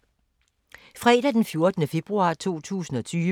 Fredag d. 14. februar 2020